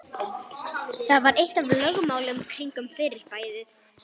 Það var eitt af lögmálunum kringum fyrirbærið.